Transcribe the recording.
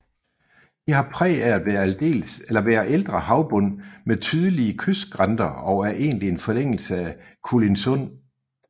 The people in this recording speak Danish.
De har præg af at være ældre havbund med tydelige kystskrænter og er egentlig en forlængelse af Kolindsund